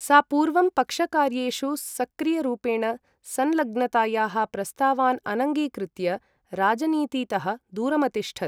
सा पूर्वं पक्षकार्येषु सक्रियरूपेण संलग्नतायाः प्रस्तावान् अनङ्गीकृत्य राजनीतितः दूरमतिष्ठत्।